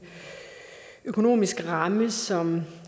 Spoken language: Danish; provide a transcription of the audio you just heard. økonomisk ramme som